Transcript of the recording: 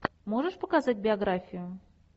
можешь показать биографию